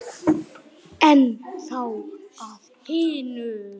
En þá að hinu.